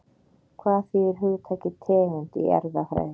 Hvað þýðir hugtakið tegund í erfðafræði?